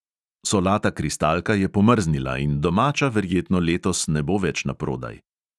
Solata kristalka je pomrznila in domača verjetno letos ne bo več naprodaj.